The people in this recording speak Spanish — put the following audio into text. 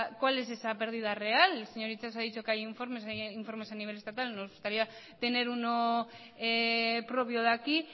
cuál es esa pérdida real el señor itxaso ha dicho que hay informes a nivel estatal nos gustaría tener uno propio de aquí